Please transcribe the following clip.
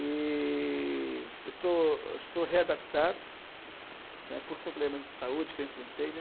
E eu estou eu estou readaptado, né, por problemas de saúde que eu enfrentei, né.